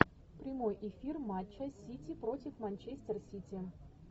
прямой эфир матча сити против манчестер сити